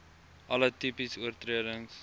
alle tipes oortredings